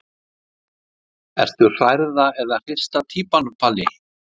Ertu hrærða eða hrista týpan Palli?